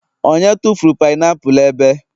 onye tufuru painiapulu ebe?